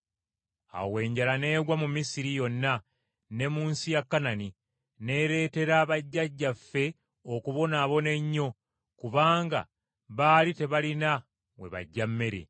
“Awo enjala n’egwa mu Misiri yonna ne mu nsi ya Kanani, n’ereetera bajjajjaffe okubonaabona ennyo kubanga baali tebalina we baggya mmere.